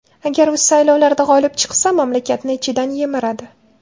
Agar u saylovlarda g‘olib chiqsa, mamlakatni ichidan yemiradi.